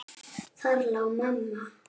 Þar lá mamma.